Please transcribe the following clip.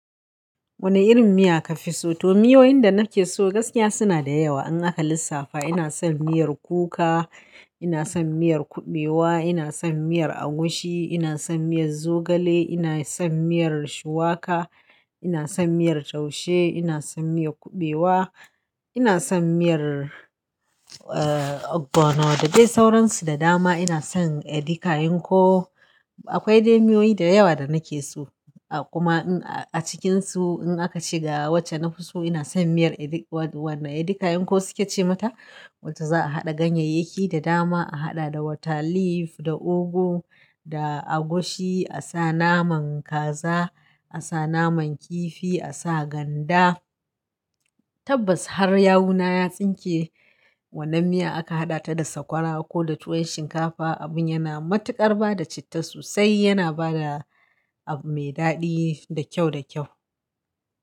Wane irin miya ka fi so? To miyoyin da na ke so gaskiya suna da yawa. In aka lissafa ina son miyar kuka, ina son miyar kuɓewa, ina son miyar agushi, ina son miyar zogale, ina son miyar shuwaka, ina son miyar taushe, ina son miyar kuɓewa, ina son miyar, ab bana da dai sauransu da dama. Ina son edika yin ko akwai dai miyoyi da yawa da na ke so a kuma a cikinsu in aka ci ga wacce na fi so ina son miyar edika yin ko suke ce mata. Wacce za'a haɗa ganyeyyaki da dama, a haɗa da wata leaf, da ugu, da agushi, a sa naman kaza, a sa naman kifi, a sa ganda. Tabbas har yawuna ya tsinke wannan miya aka haɗa ta da sakwara ko da tuwo shinkafa abun yana matuƙar ba da citta sosai. Yana ba da abu mai daɗi da kyau da kyau.